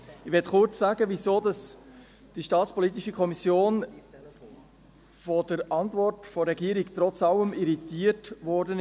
Ich möchte kurz sagen, wieso die staatspolitische Kommission von der Antwort der Regierung trotz allem irritiert wurde.